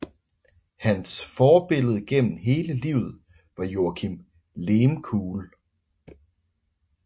Hans forbillede gennem hele livet var Joakim Lehmkuhl